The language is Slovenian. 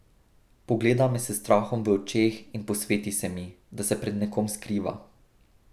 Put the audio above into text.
Pogleda me s strahom v očeh in posveti se mi, da se pred nekom skriva.